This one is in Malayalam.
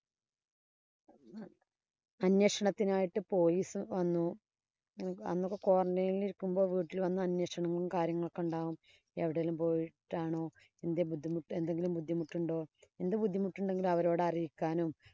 അന്വേഷണത്തിനായിട്ടു police വന്നു. അന്നൊക്കെ qurantine ഇല്‍ ഇരിക്കുമ്പോ വീട്ടില്‍ വന്നു അന്വേഷണങ്ങളും, കാര്യങ്ങളും ഒക്കെ ഒണ്ടാവും. എവിടേലും പോയിട്ടാണോ? എന്തേ ബുദ്ധിമുട്ട് എന്തെങ്കിലും ബുദ്ധിമുട്ട് ഉണ്ടോ? എന്ത് ബുദ്ധിമുട്ടുണ്ടെങ്കിലും അവരെ അറിയിക്കാനും